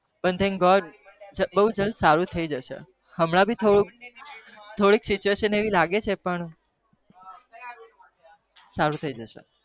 પણ બૌ જલ્દી સારું થઇ જશે સારું થઈ જસે